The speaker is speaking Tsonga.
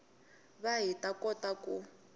va hi ta kota ku